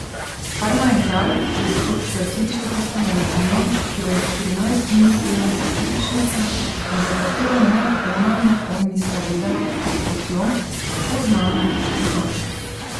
Kar naenkrat je zopet zaslišal tisto melodijo, ki jo je štirinajst dni pela sestričnica in za katero ne ona ne on nista vedela, od kod jo, tako znano, poznata.